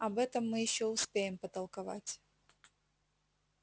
об этом мы ещё успеем потолковать